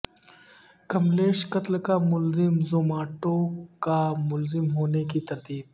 کملیش قتل کا ملزم زوماٹو کا ملازم ہونے کی تردید